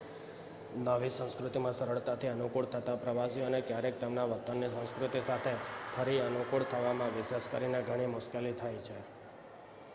નવી સંસ્કૃતિમાં સરળતાથી અનુકૂળ થતાં પ્રવાસીઓને ક્યારેક તેમના વતનની સંસ્કૃતિ સાથે ફરી અનુકૂળ થવામાં વિશેષ કરીને ઘણી મુશ્કેલી થાય છે